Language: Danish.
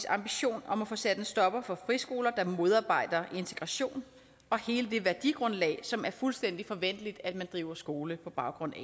ambition om at få sat en stopper for friskoler der modarbejder integration og hele det værdigrundlag som er fuldstændig forventeligt at man driver skole på baggrund af